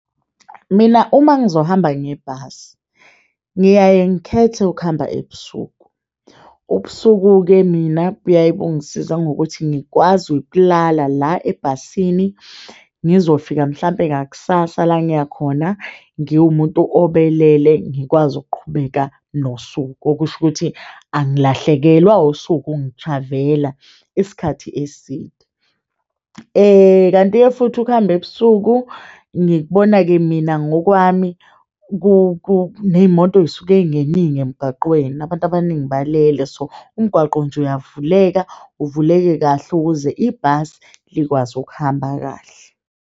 Mina uma ngizohamba ngebhasi ngiyaye ngikhethe ukuhamba ebusuku, ubusuku-ke mina kuyaye kungisize ngokuthi ngikwazi ukulala la ebhasini ngizofika mhlampe ngakusasa la ngiya khona ngiwumuntu obelele ngikwazi ukuqhubeka nosuku, okusho ukuthi angilahlekelwa usuku ngi-travel-a isikhathi eside. Kanti-ke futhi ukuhamba ebusuku ngikubona-ke mina ngokwami neyimoto zisuke zingeningi emgwaqweni abantu abaningi balele so umgwaqo nje uyavuleka, uvuleke kahle ukuze ibhasi likwazi ukuhamba kahle.